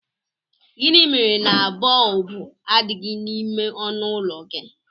Gịnị mere na bọlbụ adịghị n'ime ọnụụlọ gị?